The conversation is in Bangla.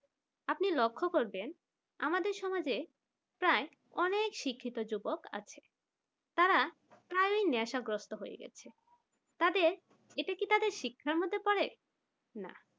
আপনি লক্ষ্য করবেন আমাদের সমাজে প্রায় অনেক শিক্ষিত যুবক আছে যারা প্রায় নেশাগ্রস্ত হয়ে গেছে তাদের এটা কি তাদের শিক্ষার মধ্যে পড়ে না